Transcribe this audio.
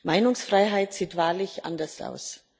Meinungsfreiheit sieht wahrlich anders aus.